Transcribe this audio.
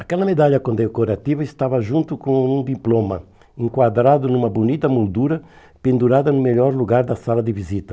Aquela medalha condecorativa estava junto com um diploma, enquadrado numa bonita moldura pendurada no melhor lugar da sala de visita.